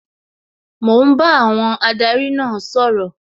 Mò ń bá àwọn adarí náà sọ̀rọ̀